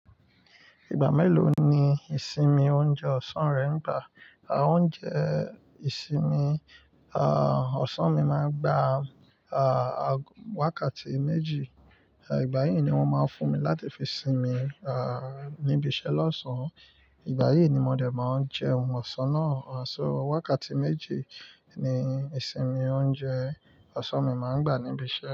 Ìgbà mélòó ni ìsinmi oúnjẹ ọ̀sán rẹ ń gbà? Oúnjẹ ìsinmi, ah, ọ̀sán mi máa ń gbà, ah, wakàtí méjì. Ìgbà yí ni wọ́n máa ń fún mi láti fi sinmi, ah, níbi iṣẹ́ lọ́sàn-án. Ìgbà yí ni mo dẹ̀ máa ń jẹún ọ̀sán náà. So wakàtí méjì ni ìsinmi oúnjẹ ọ̀sán mi máa ń gbà níbi iṣẹ́.